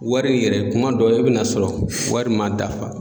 Wari yɛrɛ kuma dɔ e be n'a sɔrɔ wari ma dafa